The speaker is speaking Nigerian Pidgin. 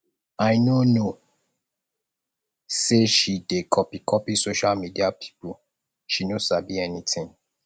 i no know sey she dey copycopy social media pipu she no sabi anytin